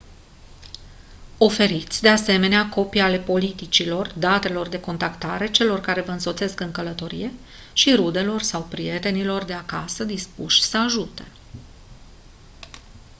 oferiți de asemenea copii ale politicilor/datelor de contactare celor ce vă însoțesc în călătorie și rudelor sau prietenilor de acasă dispuși să ajute